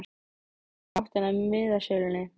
Hann leit í áttina að miðasölunni.